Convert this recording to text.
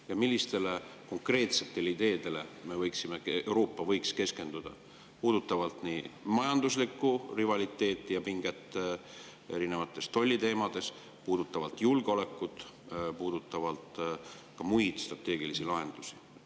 Ja millistele konkreetsetele ideedele võiks Euroopa keskenduda, mis puudutab nii majanduslikku rivaliteeti, pinget erinevates tolliteemades, julgeolekut kui ka muid strateegilisi lahendusi?